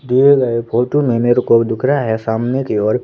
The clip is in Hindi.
दिए गए फोटो में मेरे को दिख रहा है सामने की ओर--